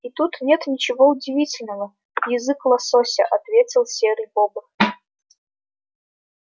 и тут нет ничего удивительного язык лосося ответил серый бобр